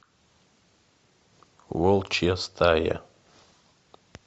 волчья стая